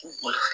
U kunna